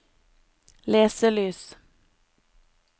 leselys